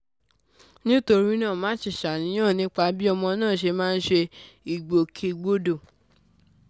nítorí náà má ṣe ṣàníyàn nípa bí ọmọ náà ṣe máa ń ṣe ìgbòkègbodò